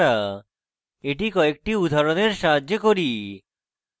এটি কয়েকটি উদাহরণের সাহায্যে করি